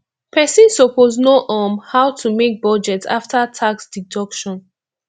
person suppose know um how to make budget after tax deduction